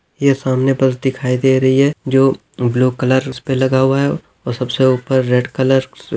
ये सामने बस दिखाई दे रही है जो ब्लू कलर उस पे लगा हुआ है और सबसे उपर रेड कलर --